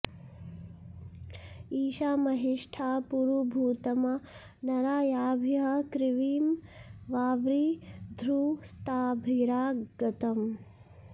इ॒षा मंहि॑ष्ठा पुरु॒भूत॑मा नरा॒ याभिः॒ क्रिविं॑ वावृ॒धुस्ताभि॒रा ग॑तम्